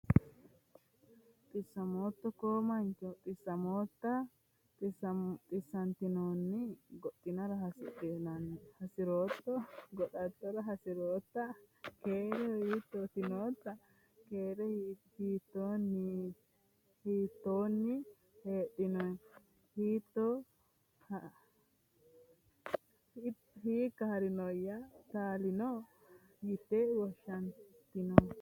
xisamooto koo mancho? Xisamoota? Xisantiinnoni? Goxatoora hasi'raato? Goxataara hasi'raata? Keereho, hiitoni nnoto? Keereho, hiitoninnota? Keereho, hiitoni haa'rinoy? Talinno? lyeeti woshaninnohu?